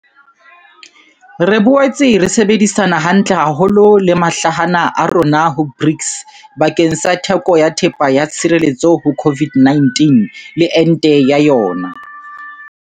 Re boetse ra sebedisana hantle haholo le mahlahana a rona ho BRICS bakeng sa theko ya thepa ya tshireletso ho COVID-19 le ente ya yona.